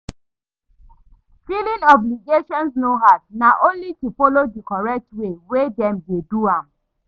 Filing obligations no hard, na only to folo di correct way wey dem dey do am